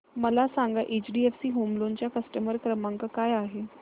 मला सांगा HDFC home loan चा कस्टमर केअर क्रमांक काय आहे